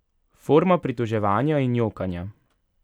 Forma pritoževanja in jokanja.